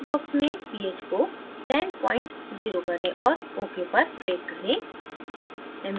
text box में ph को 100 करें और ok पर click करें